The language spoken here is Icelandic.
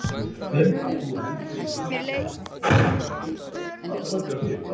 Ég finn að þú heldur í hönd mína og ég sakna þín.